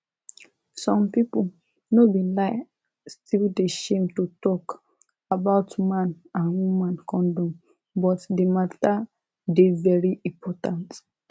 some pipu no be lie still dey shame to talk about man and woman condom but di matter dey very important